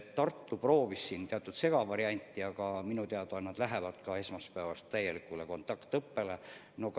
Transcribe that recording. Tartu proovis teatud segavarianti, aga minu teada nad lähevad esmaspäevast alates täielikule kontaktõppele.